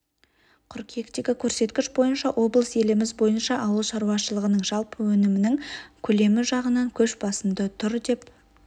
қырүйектегі көрсеткіш бойынша облыс еліміз бойынша ауыл шаруашылығының жалпы өнімінің көлемі жағынан көш басында тұр деп